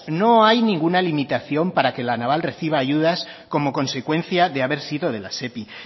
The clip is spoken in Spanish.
no hay ninguna limitación para que la naval reciba ayudas como consecuencias de haber sido de la sepi